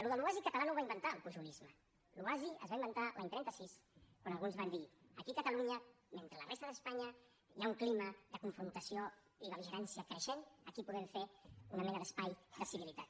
allò de l’oasi català no ho va inventar el pujolisme l’oasi es va inventar l’any trenta sis quan alguns van dir aquí a catalunya mentre a la resta d’espanya hi ha un clima de confrontació i bel·ligerància creixent aquí podem fer una mena d’espai de civilitat